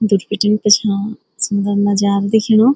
दुर भिटीं पिछौ सुन्दर नजारा दिखेणु।